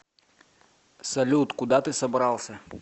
салют куда ты собрался